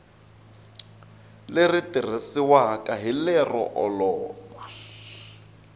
leri tirhisiwaka hi lero olova